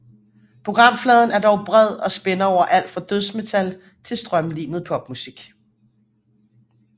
Programfladen er dog bred og spænder over alt fra dødsmetal til strømlinet popmusik